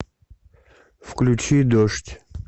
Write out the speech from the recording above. включи дождь